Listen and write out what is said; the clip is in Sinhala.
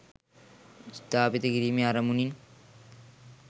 ස්ථාපිත කිරීමේ අරමුණින්